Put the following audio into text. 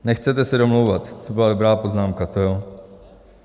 Nechcete se domlouvat: To byla dobrá poznámka, to jo.